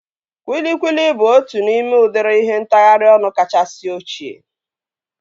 Kwilikwili bụ otu n'ime udịri ihe ntagharị ọnụ kachasị ochie